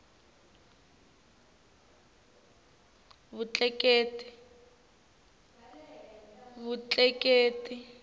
vutleketli